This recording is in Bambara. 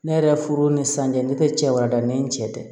Ne yɛrɛ furu ni sanji ne tɛ cɛ warada ni n cɛ tɛ